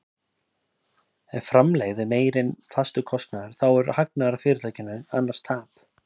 Ef framlegð er meiri en fastur kostnaður þá er hagnaður af fyrirtækinu, annars tap.